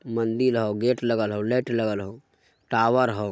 मंदिर हाउ गेट लगा हाउ लो लगा लो टावर हो ।